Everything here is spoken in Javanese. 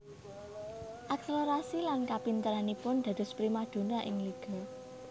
Akselerasi lan kapinteranipun dados primadona ing liga